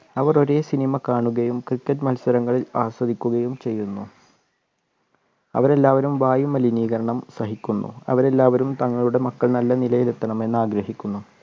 അവർ ഒരേ cinema കാണുകയും cricket മത്സരങ്ങൾ ആസ്വദിക്കുകയും ചെയുന്നു അവർ എല്ലാവരും വായുമലിനീകരണം സഹിക്കുന്നു അവർ എല്ലാവരും തങ്ങളുടെ മക്കൾ നല്ല നിലയിൽ എത്തണമെന്ന് ആഗ്രഹിക്കുന്നു